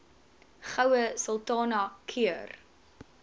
goue sultana keur